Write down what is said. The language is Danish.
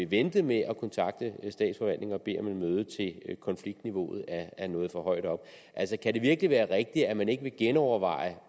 vente med at kontakte statsforvaltningen og bede om et møde til konfliktniveauet er nået for højt op kan det virkelig være rigtigt at man ikke vil genoverveje